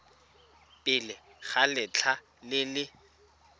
pele ga letlha le le